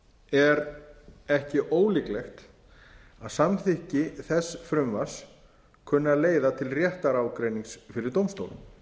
er ekki ólíklegt að samþykki þess frumvarps kunni að leiða til réttarágreinings fyrir dómstólum